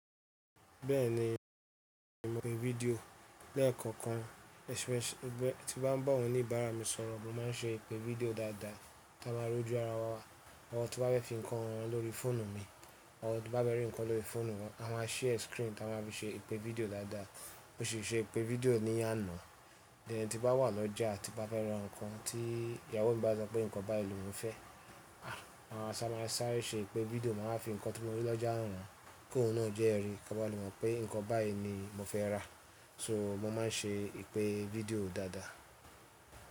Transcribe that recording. Bẹ́ẹ̀ni, mo pe fídíò, lẹ́ẹ̀kọ̀kan ẹse tí bá ń bá àwon onìbàrà mi sọ̀rọ̀, mó má n ṣe ìpè fídíò dáadáa tí a máa rọ̀ jú ara wá, àwọn tí wà bẹ fi nkán han wọn lórí fóònù mi, àwọn tí wón bá fé rí nkán lórí fóònù wọn, a máa sia screen ti a máa fi sẹ ìpè fídíò dáadáa. Mo ṣi ṣe ìpè fídíò ní àná, ẹ̀hn tí n bà wà lọ́jà tí n bà fẹ́ rà nkàn tí ìyàwó mi bá sọ pé nkàn báyìí lọ̀ mó fẹ, a máa sá máa sáré sẹ ìpè fídíò máa fi nkàn tí mó rí lọ́jà hàn wọ́n, kí oun náà jẹ́rí kí wọ́n le mó pé nkàn báyìí ni mó fẹ́ rà. So mó má n ṣe ìpè fídíò dáadáa.